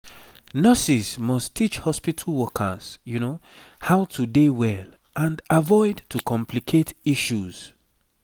nurses must teach hospitu workers how to dey well and avoid to complicate issues